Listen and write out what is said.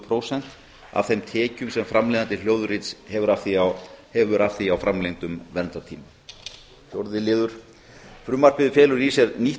prósentum af þeim tekjum sem framleiðandi hljóðrits hefur af því að á framlengdum verndartíma fjórða frumvarpið felur í sér nýtt